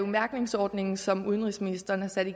mærkningsordningen som udenrigsministeren har sat